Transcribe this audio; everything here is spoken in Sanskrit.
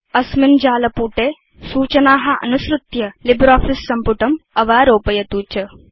अस्मिन् वेबसाइट मध्ये सूचना अनुसृत्य लिब्रियोफिस सम्पुटम् अवारोपयतु च